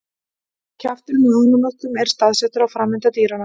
Kjafturinn á ánamöðkum er staðsettur á framenda dýranna.